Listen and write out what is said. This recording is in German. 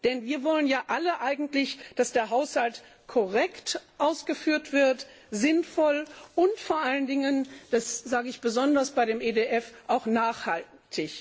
Denn wir wollen ja eigentlich alle, dass der Haushalt korrekt ausgeführt wird, sinnvoll und vor allen Dingen das sage ich besonders bei dem EDF auch nachhaltig.